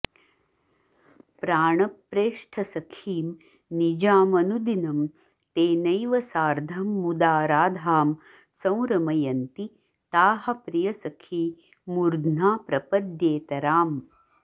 प्राणप्रेष्ठसखीं निजामनुदिनं तेनैव सार्धं मुदा राधां संरमयन्ति ताः प्रियसखी मूर्ध्ना प्रपद्येतराम्